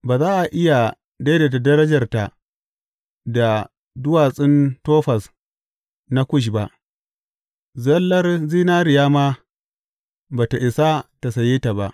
Ba za a iya daidaita darajarta da duwatsun Tofaz na Kush ba, zallar zinariya ma ba tă isa ta saye ta ba.